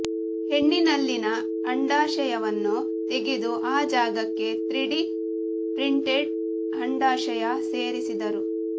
ಹೆಣ್ಣಿನಲ್ಲಿನ ಅಂಡಾಶಯವನ್ನು ತೆಗೆದು ಆ ಜಾಗಕ್ಕೆ ತ್ರೀಡಿ ಪ್ರಿಂಟೆಡ್ ಅಂಡಾಶಯ ಸೇರಿಸಿದರು